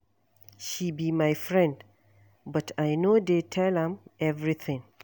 She be my friend but I no dey tell am everything